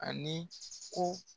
Ani ko